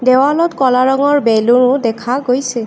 দেৱালত ক'লা ৰঙৰ বেলুন দেখা গৈছে।